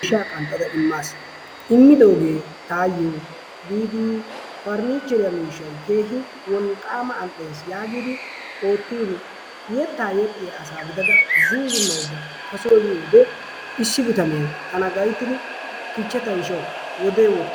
Miishshaa qanxxada imaas. Immidoogee taayo biidi 'parniicheriya' miishshay keehi wolqaama al'ees, yaagidi ootiini yetaa yexxiya asaa gidada zuuzumaydda ta soo yiyoode issi bitanee tana gayttidi "kichcha ta ishshawu wodee woxi.."